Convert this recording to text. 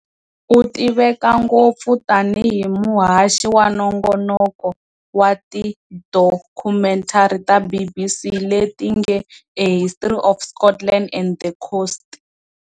U tiveka ngopfu tanihi muhaxi wa nongonoko wa tidokhumentari ta BBC leti nge A History of Scotland and the Coast.